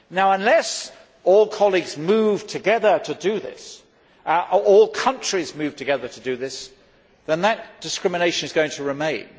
Unless all colleagues move together to do this, and all countries move together to do this, that discrimination is going to remain.